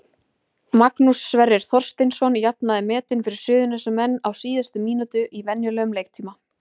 Magnús Sverrir Þorsteinsson jafnaði metin fyrir Suðurnesjamenn á síðustu mínútu í venjulegum leiktíma.